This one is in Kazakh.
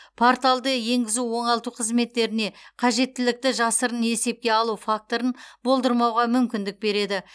порталды енгізу оңалту қызметтеріне қажеттілікті жасырын есепке алу факторын болдырмауға мүмкіндік береді